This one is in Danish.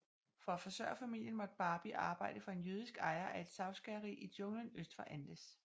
For at forsørge familien måtte Barbie arbejde for en jødisk ejer af et savskæreri i junglen øst for Andes